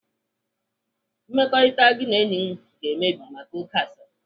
Mmekọrịta gị na enyi gị ga-emebi maka oké asịrị.